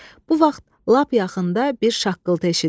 Bu vaxt lap yaxında bir şaqqıltı eşidildi.